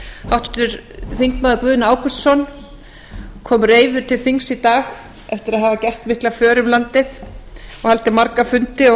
háttvirtur þingmaður guðni ágústsson kom reiður til þings í dag eftir að hafa gert mikla för um landið og haldið marga fundi og